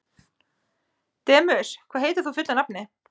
Demus, hvað heitir þú fullu nafni?